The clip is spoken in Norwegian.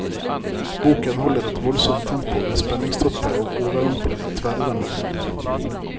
Boken holder et voldsomt tempo med spenningstopper og overrumplende tverrvendinger.